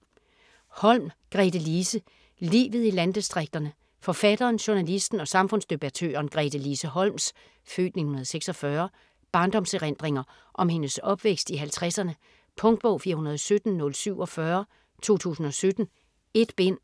Holm, Gretelise: Livet i landdistrikterne Forfatteren, journalisten og samfundsdebattøren Gretelise Holms (f. 1946) barndomserindringer om hendes opvækst i halvtredserne. Punktbog 417047 2017. 1 bind.